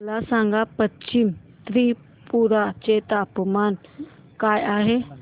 मला सांगा पश्चिम त्रिपुरा चे तापमान काय आहे